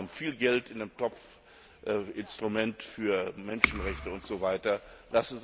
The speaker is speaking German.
Wir haben viel Geld in dem Topf, Instrument für Menschenrechte usw.